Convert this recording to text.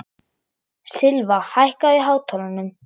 Silfa, hækkaðu í hátalaranum.